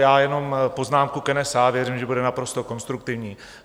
Já jenom poznámku k NSA, věřím, že bude naprosto konstruktivní.